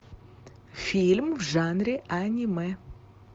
фильм в жанре аниме